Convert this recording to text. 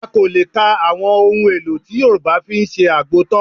A kò lè kan àwọn ohun-èlò tí Yorùbá fi ń ṣe àgbo tán